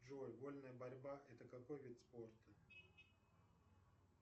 джой вольная борьба это какой вид спорта